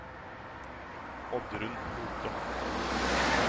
Oddrun Lothe